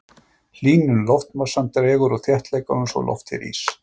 hlýnun loftmassans dregur úr þéttleikanum svo loftið rís